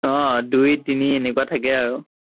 আহ দুই তিনি এনেকুৱা থাকে আৰু